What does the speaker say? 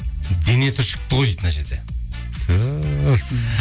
дене түршікті ғой дейді мына жерде түһ